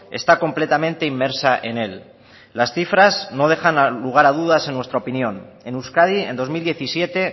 está completamente inmersa en él las cifras no dejan lugar a dudas en nuestra opinión en euskadi en dos mil diecisiete